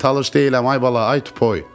Mən talış deyiləm, ay bala, ay tupoy.